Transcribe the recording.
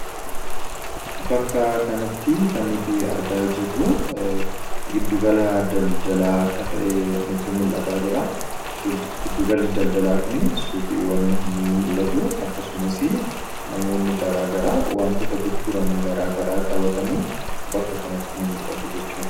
Bakka kanatti kan nuti argaa jirru giddu gala daldalaa akka ta'e nutti mul'ataa jira. Giddu galli daldalaa kun suuqiiwwan ni mul'atu akkasumas namoonni garaagaraa wantoota gurguran garaagaraa qabatanii bakka kanatti ni mul'atu jechuudha.